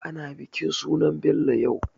Ana bikin sunan Bello yau.